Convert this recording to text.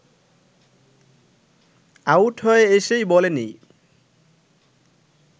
out হয়ে এসেই বলেনি